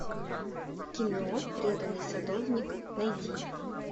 кино преданный садовник найди